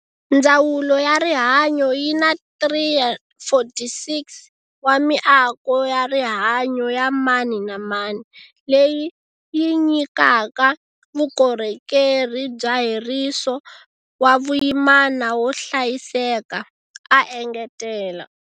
Ndzawulo ya Rihanyo yi na 346 wa miako ya rihanyo ya mani na mani, leyi yi nyikaka vukorhokeri bya heriso wa vuyimana wo hlayiseka, a engetela.